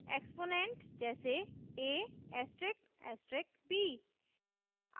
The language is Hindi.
** एक्सपोनेंट: जैसे a**b